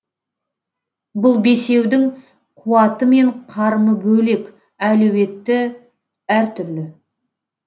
бұл бесеудің қуаты мен қарымы бөлек әлеуеті әртүрлі